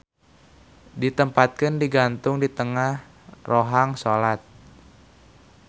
Ditempatkeun digantung di tengah rohang solat.